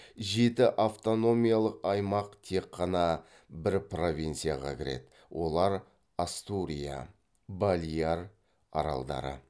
жеті автономиялық аймақ тек қана бір провинцияға кіреді олар астурия балеар аралдары